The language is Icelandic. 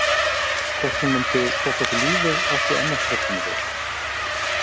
Hvort hún myndi kosta okkur lífið átti enn eftir að koma í ljós.